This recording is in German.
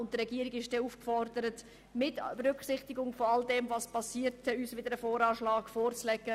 Die Regierung ist dann aufgefordert, uns unter Berücksichtigung der Geschehnisse später einen neuen, positiven VA vorzulegen.